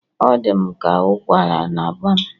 Ọ dị m ka ụkwara na-agba m